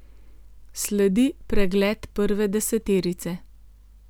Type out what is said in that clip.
Sledi pregled prve deseterice.